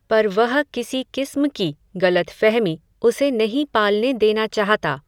पर वह किसी किस्म की, गलतफ़हमी उसे नहीं पालने देना चाहता